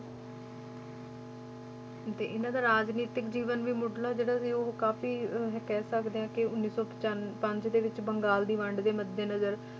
ਤੇ ਇਹਨਾਂ ਦਾ ਰਾਜਨੀਤਿਕ ਜੀਵਨ ਵੀ ਮੁੱਢਲਾ ਜਿਹੜਾ ਸੀ ਉਹ ਕਾਫ਼ੀ ਅਹ ਕਹਿ ਸਕਦੇ ਹਾਂ ਕਿ ਉੱਨੀ ਸੌ ਪਚਾਨ~ ਪੰਜ ਦੇ ਵਿੱਚ ਬੰਗਾਲ ਦੀ ਵੰਡ ਦੇ ਮੱਦੇ ਨਜ਼ਰ